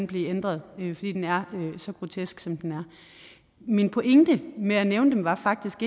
blive ændret fordi den er så grotesk som den er min pointe med at nævne dem var faktisk